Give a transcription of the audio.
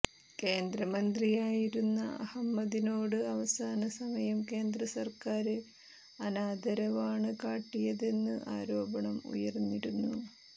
കേന്ദ്രമന്ത്രിയായിരുന്ന അഹമ്മദിനോട് അവസാന സമയം കേന്ദ്രസര്ക്കാര് അനാദരവാണ് കാട്ടിയതെന്ന് ആരോപണം ഉയര്ന്നിരുന്നു